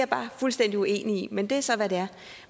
bare fuldstændig uenig i men det er så hvad det er